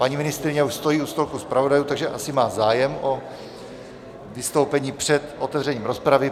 Paní ministryně už stojí u stolku zpravodajů, takže asi má zájem o vystoupení před otevřením rozpravy.